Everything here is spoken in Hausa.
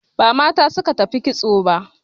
Ba mata suka tafi kitso ba